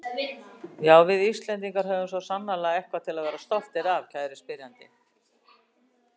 Já, við Íslendingar höfum svo sannarlega eitthvað til að vera stoltir af, kæri spyrjandi.